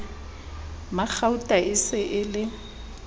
magauta e se e le